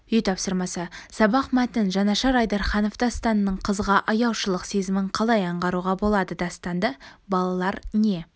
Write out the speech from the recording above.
үй тапсырмасы сабақ мәтін жанашыр айдарханов дастанның қызға аяушылық сезімін қалай аңғаруға болады дастанды балалар не